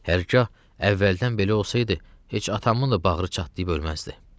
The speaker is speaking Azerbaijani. Hərgah əvvəldən belə olsaydı, heç atamın da bağrı çatlayıb ölməzdi.